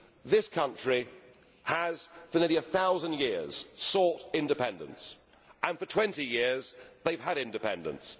This country has for nearly a thousand years sought independence and for 20 years they have had independence.